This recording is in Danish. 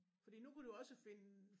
Fordi nu kan du også finde